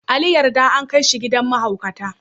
Ali yarda an kai shi gidan mahaukata.